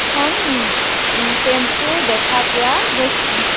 এখন উ টেম্পু দেখা পোৱা গৈছে।